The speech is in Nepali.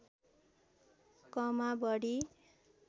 कमा बढी